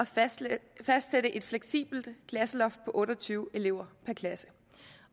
fastsætte et fleksibelt klasseloft på otte og tyve elever per klasse